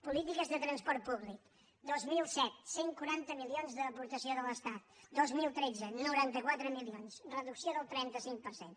polítiques de transport públic dos mil set cent i quaranta milions d’aportació de l’estat dos mil tretze noranta quatre milions reducció del trenta cinc per cent